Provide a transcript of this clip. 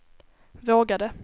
vågade